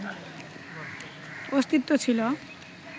অস্তিত্ব ছিল